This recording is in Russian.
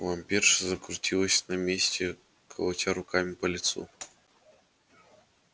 вампирша закрутилась на месте колотя руками по лицу